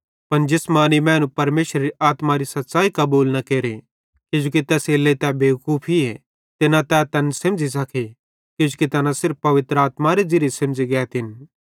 पन जिसमानी मैनू परमेशरेरे आत्मारी सच़्च़ाई कबूल न केरे किजोकि तैसेरेलेइ तै बेवकूफीए ते न तै तैन सेमझ़ी सके किजोकि तैना सिर्फ पवित्र आत्मारे ज़िरिये सेमझ़ी गैतिन